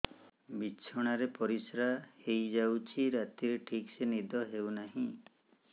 ବିଛଣା ରେ ପରିଶ୍ରା ହେଇ ଯାଉଛି ରାତିରେ ଠିକ ସେ ନିଦ ହେଉନାହିଁ